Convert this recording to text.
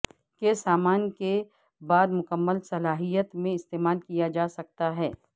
کہ سامان کے بعد مکمل صلاحیت میں استعمال کیا جا سکتا ہے